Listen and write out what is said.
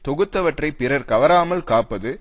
தொகுத்தவற்றைப் பிறர்கவராமல் காப்பது